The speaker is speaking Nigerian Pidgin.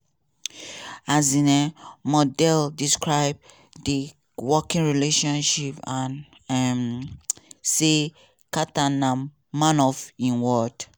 um mondale describe di working relationship and um say carter na "man of im word".